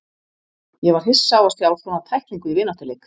Ég var hissa á að sjá svona tæklingu í vináttuleik.